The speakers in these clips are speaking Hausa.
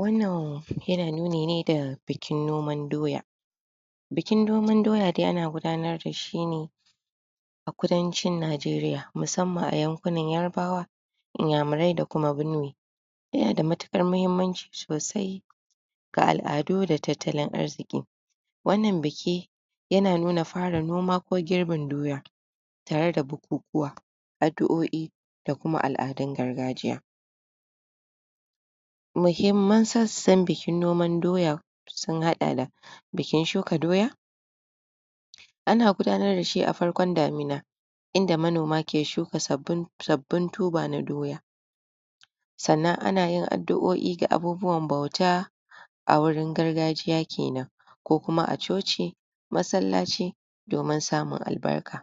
Wannan yana nuni ne da bikin noman doya; bikin noman doya dai ana gudanar dashi ne a kudancin Najeriya, musamman a yankunan Yarbawa, Inyamurai da kuma Benue. Yana da matuƙar muhimmanci sosai ga alʼadu da tattalin arziƙi. Wannan biki yana nuna fara noma ko girbin doya, tare da bukukuwa, adduoʼi, da kuma alʼadun gargajiya. Muhimman sassan bikin noman doya; sun haɗa da bikin shuka doya: ana gudanar da shi a farkon damina, inda manoma ke shuka? sabbin tuber na doya, sannan ana yin adduoʼi ga abubuwan bauta, a wurin gargajiya kenan ko kuma a coci, masallaci, domin samun albarka.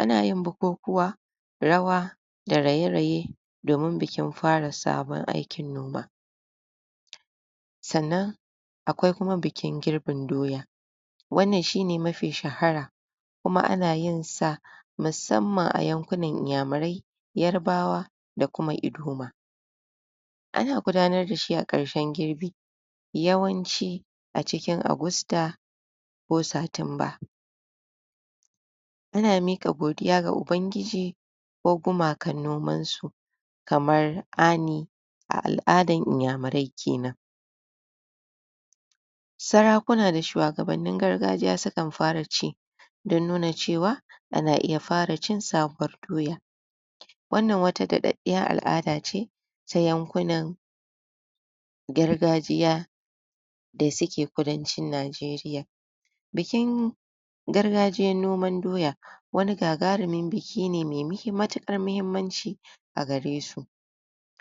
Ana yin bukukuwa, rawa, da raye-raye. domin bikin fara sabon aikin noma. Sannan akwai kuma bikin girbin doya: wannan shine mafi shahara, kuma ana yin sa musamman a yankunan Inyamurai, Yarbawa, da kuma Idoma. Ana gudanar dashi a ƙarshen girbi, yawanci a cikin Agusta, ko Satumba. Ana miƙa godiya ga Ubangiji, ko gumakan noman su, kamar: aːni, a alʼadar Inyamurai kenan. Sarakuna da shuwagabannin gargajiya sukan fara ci, don nuna cewa ana iya fara cin sabuwar doya. Wannan wata daɗaɗɗiyar alʼada ce, ta yankunan gargajiya da suke kudancin Najeriya. Bikin gargajiyan noman doya, wani gagarumin biki ne mai? matuƙar muhimmanci a gare su,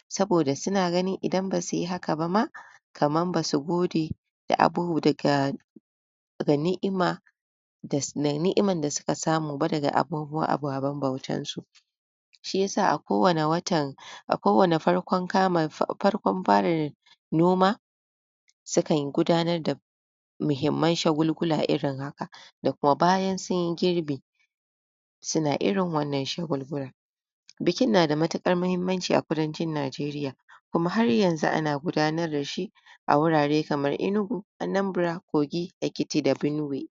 saboda suna ganin idan basuyi haka ba ma, kamar basu gode? daga?? ni'imar da suka samu ba daga? ababen bautar su. Shi yasa a ko wanne?? farkon? fara noma, sukan gudanar da muhimman shagulgula irin haka, da kuma bayan sun girbi, suna irin wannan shagulgula. Bikin na da matuƙar muhimmanci a kudancin Najeriya, kuma har yanzu ana gudanar dashi a wurare kamar Enugu, Anambra, Kogi, Ekiti da Benue.